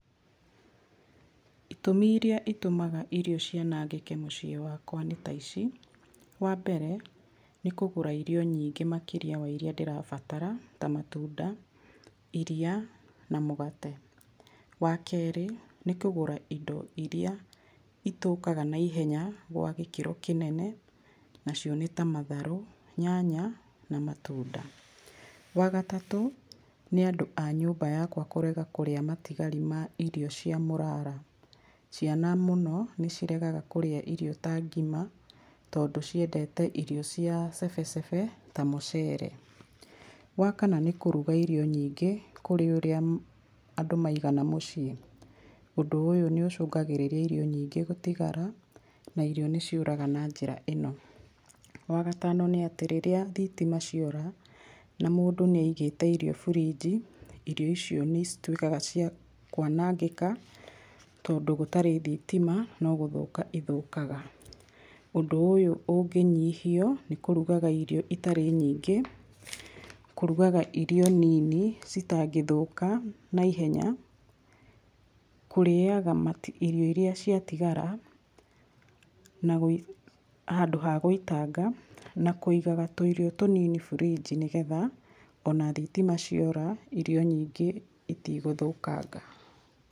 Itũmi iria itũmaga irio cianangĩke mũciĩ wakwa nĩta ici. Wa mbere, nĩ kũgũra irio nyingĩ makĩria wa iria ndĩrabatara ta matunda, iria na mũgate. Wa kerĩ, nĩ kũgũra indo iria itũkaga naihenya gwa gĩkĩro kĩnene, nacio nĩta matharũ, nyanya na matunda. Wa gatatũ, nĩ andũ a nyũmba yakwa kũrega kũrĩa matigari ma irio cia mũrara. Ciana mũno nĩ ciregaga kũrĩa irio ta ngima tondũ ciendete irio cia cebecebe ta mũceere. Wa kana, nĩ kũruga irio nyingĩ kũrĩ ũrĩa andũ maigana mũciĩ. Ũndũ ũyũ nĩ ũcũngagĩrĩria irio nyingĩ gũtigara na irio nĩ ciũraga na njĩra ĩno. Wa gatano nĩ atĩ, rĩrĩa thitima ciora na mũndũ nĩagĩte irio burinji irio icio nĩcituĩka cia kwanangĩka tondũ gũtarĩ thitima no gũthũka ithũkaga. Ũndũ ũyũ ũngĩnyihio nĩ kũrugaga irio itarĩ nyingĩ, kũrugaga irio nini citangĩthũka naihenya, kũrĩaga matigio, irio iria ciatigara, handũ hagwĩtanga, na kwĩgaga tũirio tũnini burinji nĩgetha ona thitima ciora irio nyingĩ itigũthũkanga.